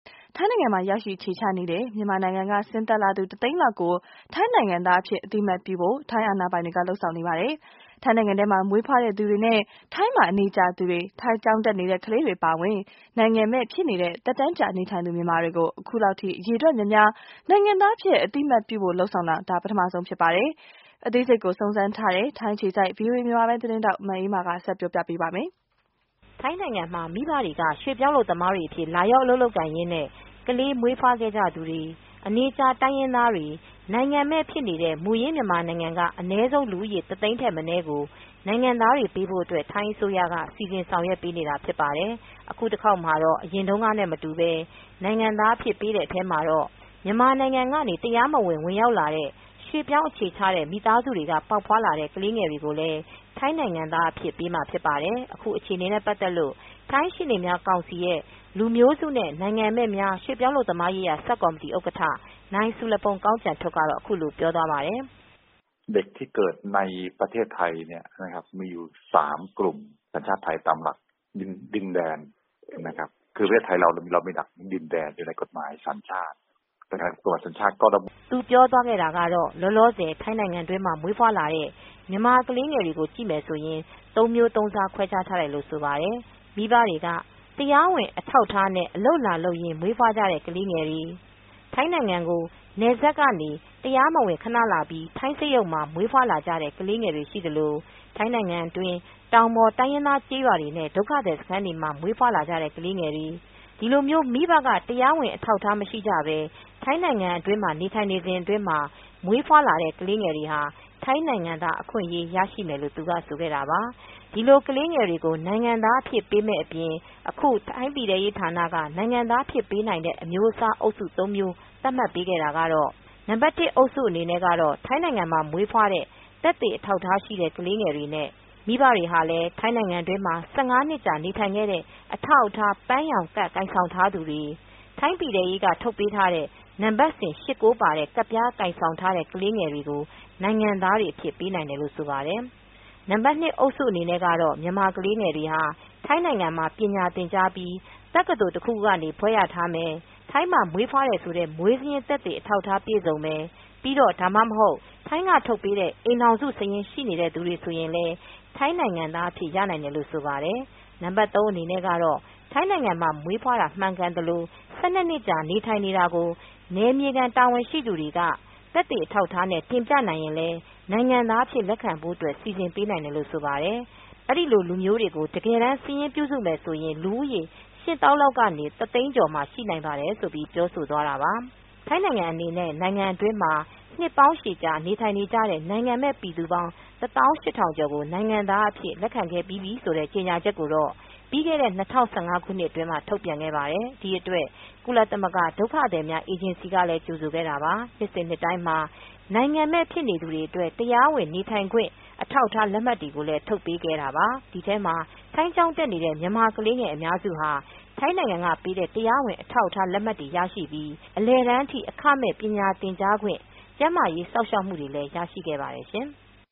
ထိုင်းနိုင်ငံမှာရောက်ရှိ အခြေချနေတဲ့ မြန်မာနိုင်ငံကဆင်းသက်လာသူ တသိန်းလောက်ကို ထိုင်းနိုင်ငံသားအဖြစ် အသိအမှတ်ပြုဖို့ ထိုင်းအာဏာပိုင်တွေ လုပ်ဆောင်နေပါတယ်။ ထိုင်းနိုင်ငံထဲမှာမွေးဖွားတဲ့သူတွေနဲ့ ထိုင်းမှာအနေကြာသူတွေ ထိုင်းကျောင်းတက်နေတဲ့ကလေးတွေအပါအဝင် နိုင်ငံမဲ့ဖြစ်နေတဲ့ သက်တမ်းကြာနေထိုင်သူ မြန်မာတွေကို အခုလောက်ထိ အရည်အတွက်များများ နိုင်ငံသားအဖြစ် အသိအမှတ်ပြုဖို့ လုပ်ဆောင်တာ ဒါပထမဆုံးအကြိမ် ဖြစ်ပါတယ်။ အသေးစိတ်ကို စုံစမ်းထားတဲ့ ထိုင်းက မအေးအေးမာ ဆက်ပြောပြမှာ ဖြစ်ပါတယ်။ ထိုင်းနိုင်ငံမှာမိဘတွေကရွှေ့ပြောင်းအလုပ်သမားတွေ အဖြစ်လာရောက်အလုပ်ကိုင်ရင်းနဲ့ ကလေးမွေးဖွားခဲ့ကြသူတွေ၊ အနေကြာတိုင်ရင်းသားတွေ၊ နိုင်ငံမဲ့ဖြစ်နေတဲ့ မူရင်းမြန်မာနိုင်ငံကအနည်းဆုံးလူဦးရေ တသိန်းထက်မနည်းကို နိုင်ငံသားတွေပေးဖို့အတွက် ထိုင်းအစိုးရက စီစဉ်ဆောင်ရွက်ပေးနေတာဖြစ်ပါတယ်။ အခုတခေါက်မှာတော့အရင်တုန်းကနဲ့မတူပဲ နိုင်ငံသားပေးတဲ့အထဲမှာ မြန်မာနိုင်ငံကနေတရားမဝင်ဝင်ရောက်လာတဲ့ ရွှေ့ပြောင်းအခြေချတဲ့မိသားစုတွေကပေါက်ဖွားလာတဲ့ ကလေးတွေကိုလည်း ထိုင်းနိုင်ငံသားအဖြစ်ပေးမှာဖြစ်ပါတယ်။ ခုအခြေအနေနဲ့ပတ်သက်လို့ထိုင်းရှေနေများကောင်စီရဲ့လူမျိုးစုနဲ့နိုင်ငံမဲ့များ ရွှေ့ပြောင်းအလုပ်သမားရေးရာဆပ်ကော်မတီဥက္ကဌ နိုင်ဆူလုဖုန်ကောင်းကျန်ထွတ်က ထိုင်းဘာသာနဲ့ခုလိုပြောပါတယ်။ သူပြောသွားတာကတော့ လောလောဆယ် ထိုင်းနိုင်ငံအတွင်းမှာ မွေးဖွားလာတဲ့ မြန်မာကလေးငယ်တွေကို ကြည့်မယ်ဆိုရင် သုံးမျိုးသုံးစား ခွဲခြားထားတယ်လို့ဆိုပါတယ်။ မိဘတွေက တရားဝင်အထောက်အထားနဲ့ အလုပ်လာလုပ်ရင်းမွေးဖွားလာကြတဲ့ ကလေးငယ်တွေ၊ ထိုင်းနိုင်ငံကို နယ်စပ်ကနေ တရားမဝင် ခဏလာပြီး ထိုင်းစက်ရုံမှာ မွေးဖွားလာကြတဲ့ ကလေးငယ်တွေရှိသလို ထိုင်းနိုင်ငံအတွင်း တောင်ပေါ်တိုင်းရင်းသားကျေးရွာတွေနဲ့ ဒုက္ခသည်စခန်းတွေမှာ မွေးဖွားလာကြတဲ့ ကလေးငယ်တွေ၊ ဒီလိုမျိုး မိဘက တရားဝင်အထောက်အထားမရှိပဲ ထိုင်းနိုင်ငံတွင်းနေထိုင်နေစဉ်အတွင်းမှာ မွေးဖွားလာတဲ့ ကလေးငယ်တွေဟာ ထိုင်းနိုင်ငံသားအခွင့်အရေးရရှိမယ်လို့ သူက ဆိုခဲ့တာပါ။ ဒီလိုကလေးတွေကိုနိုင်ငံသားအဖြစ် ပေးမယ့်အပြင်အခု ထိုင်းပြည်ထဲရေးဌာန က နိုင်ငံသားအဖြစ်ပေးနိုင်တဲ့ အမျိုးစားအုပ်စုသုံးမျိုး သတ်မှတ်ပေးခဲ့တာကတော့..နံပါတ် အုပ်စုအနေနဲ့ ထိုင်းနိုင်ငံမှာ မွေးဖွားတဲ့သက်သေအထောက်အထားရှိတဲ့ကလေးငယ်တွေနဲ့ မိဘတွေဟာလည်း ထိုင်းနိုင်ငံ အတွင်းမှာ နှစ်ကြာ နေထိုင်ခဲ့တဲ့ အထောက်အထား ပန်းရောင်ကဒ် ကိုင်ဆောင်ထားသူတွေ၊ ထိုင်းပြည်ထဲရေးကထုတ်ပေးထားတဲ့ နံပါတ်စဉ် ၈၊ ၉ ပါတဲ့ ကဒ်ပြားကိုင်ဆောင်တဲ့ ကလေးတွေကိုနိုင်ငံသား အဖြစ်ပေးနိုင်တယ်လို့ဆိုပါတယ်။ နံပါတ် အုပ်စုအနေနဲ့ ကတော့ မြန်မာ ခလေးငယ်တွေဟာ ထိုင်းနိုင်ငံမှာပညာသင်ကြားပြီး တက္ကသိုလ်ဘွဲ့ ရထားမယ်၊ ထိုင်းမှာမွေးဖွားတယ်ဆိုတဲ့ မွေးစာရင်းသက်သေ အထောက်အထားပြည်စုံမယ်၊ ဒါမှမဟုတ်ထိုင်းကထုတ်ပေးထားတဲ့ အိမ်ထောင်စုစာရင်း ရှိနေတဲ့ သူတွေဆိုရင်လည်း လည်းထိုင်းနိုင်ငံသားအဖြစ်ရနိုင်တယ်လို့ဆိုပါတယ် ။ နံပါတ် အနေနဲ့ ကတော့ ထိုင်းနိုင်ငံမှာမွေးတာ မှန်ကန်သလို ၁၂ နစ်ကြာနေထိုင်နေတာကို နယ်မြေခံ တာဝန်ရှိသူတွေက တာဝန်ခံသက်သေအထောက်ထားနဲ့ တင်ပြနိုင်ရင်လည်း နိုင်ငံသားဖြစ်လက်ခံဖို့အတွက် စီစဉ်ပေးနိုင်တယ်လို့ဆိုပါတယ်။ အဲဒီလို လူမျိုးတွေကို တကယ်စာရင်းပြုစုမယ်ဆိုရင် လူဦးရေ ၈ သောင်းနဲ့ တစ်သိန်းကျော်မှာ ရှိနိုင်ပါတယ်ဆိုပြီး ပြောဆိုသွားတာပါ။ ထိုင်းနိုင်ငံအနေနဲ့ နိုင်ငံအတွင်းမှာ နှစ်ပေါင်းရှည်ကြာ နေထိုင်ကြ တဲ့ နိုင်ငံမဲ့ ပြည်သူ ၁,၈၀၀၀ ကျော်ကို နိုင်ငံသားအဖြစ် လက်ခံခဲ့ပြီးပြီဆိုတဲ့ ကြေညာချက်ကိုတော့ ပြီးခဲ့တဲ့၂၀၁၅ ခုနှစ်အတွင်းမှာထုတ်ပြန်ခဲ့ပါတယ်။ ဒီအတွက် ကုလသမဂ္ဂ ဒုက္ခသည်များအေဂျင်စီကလည်း ကြိုဆိုခဲ့တာပါ။ နှစ်စဉ်နှစ်တိုင်းမှာလည်း နိုင်ငံမဲ့ဖြစ်နေသူတွေအတွက်တရားဝင် နေထိုင်ခွင့်အထောက်အထားလက်မှတ်တွေကိုလည်း ထုတ်ပေးခဲ့တာပါ။ ဒီထဲမှာထိုင်းကျောင်းတက်နေတဲ့ မြန်မာကလေးငယ်အများစုဟာ ထိုင်းနိုင်ငံကပေးတဲ့ တရားဝင် အထောက်အထားလက်မှတ်တွေရရှိပြီး အလယ်တန်းအထိ အခမဲ့ပညာသင်ကြားခွင့်၊ ကျန်းမာရေးစောင့်ရှောက်မှုတွေလည်းရရှိခဲ့ပါတယ်ရှင် ။